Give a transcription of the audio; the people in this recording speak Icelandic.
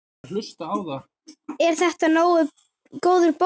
Er þetta góður bónus?